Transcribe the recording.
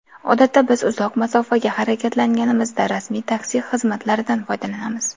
Odatda biz uzoq masofaga harakatlanganimizda rasmiy taksi xizmatlaridan foydalanamiz.